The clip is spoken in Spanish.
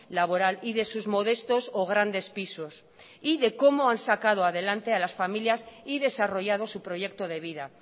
laboral y de sus modestos o grandes pisos y de cómo han sacado adelante a las familias y desarrollado su proyecto de vida